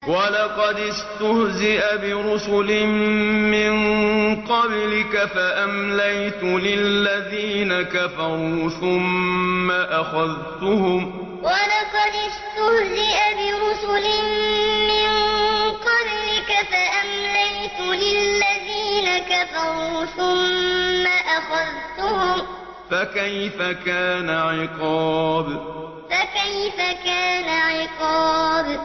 وَلَقَدِ اسْتُهْزِئَ بِرُسُلٍ مِّن قَبْلِكَ فَأَمْلَيْتُ لِلَّذِينَ كَفَرُوا ثُمَّ أَخَذْتُهُمْ ۖ فَكَيْفَ كَانَ عِقَابِ وَلَقَدِ اسْتُهْزِئَ بِرُسُلٍ مِّن قَبْلِكَ فَأَمْلَيْتُ لِلَّذِينَ كَفَرُوا ثُمَّ أَخَذْتُهُمْ ۖ فَكَيْفَ كَانَ عِقَابِ